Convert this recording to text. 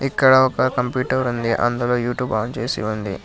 ఇక్కడ ఒక కంప్యూటర్ ఉంది అందులో యూట్యూబ్ ఆన్ చేసి ఉంది.